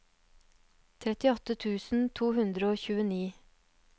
trettiåtte tusen to hundre og tjueni